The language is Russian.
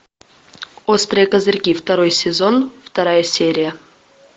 острые козырьки второй сезон вторая серия